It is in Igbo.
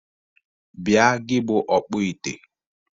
Bia gi bụ ọkpọ ite!